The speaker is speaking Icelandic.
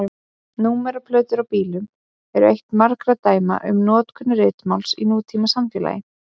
Númeraplötur á bílum eru eitt margra dæma um notkun ritmáls í nútímasamfélagi.